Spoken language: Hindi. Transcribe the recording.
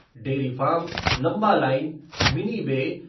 डेरीफ़ार्म, लम्बा लाइन, मिनी बे